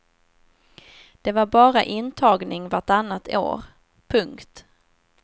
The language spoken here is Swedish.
Det var bara intagning vartannat år. punkt